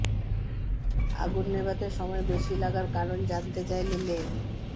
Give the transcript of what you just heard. আগুন নেভাতে সময় বেশি লাগার কারণ জানতে চাইলে লে